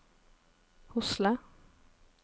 Hosle